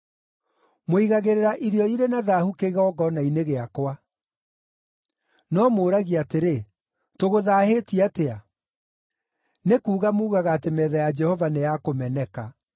“Mũigagĩrĩra irio irĩ na thaahu kĩgongona-inĩ gĩakwa. “No mũũragia atĩrĩ, ‘Tũgũthaahĩtie atĩa?’ “Nĩ kuuga muugaga atĩ metha ya Jehova nĩ ya kũmeneka.